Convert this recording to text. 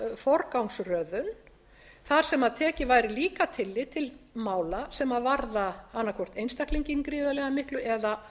forgangsröðun þar sem tekið væri líka tillit til mála sem varða annaðhvort einstaklinginn gríðarlega miklu eða